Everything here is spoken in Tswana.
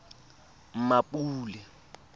mmapule